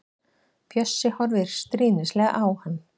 Bjössi horfir stríðnislega á hann.